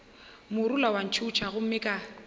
morula wa ntšhutha gomme ka